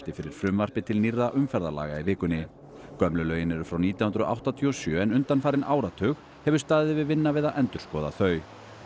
fyrir frumvarpi til nýrra umferðarlaga í vikunni gömlu lögin eru frá nítján hundruð áttatíu og sjö en undanfarinn áratug hefur staðið yfir vinna við að endurskoða þau